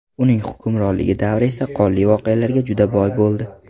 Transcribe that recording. Uning hukmronlik davri esa qonli voqealarga juda boy bo‘ldi.